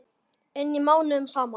inni mánuðum saman.